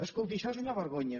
escolti això és una vergonya